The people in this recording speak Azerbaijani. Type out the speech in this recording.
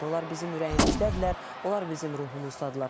Onlar bizim ürəyimizdədirlər, onlar bizim ruhumuzdadırlar.